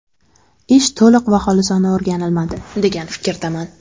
Ish to‘liq va xolisona o‘rganilmadi, degan fikrdaman.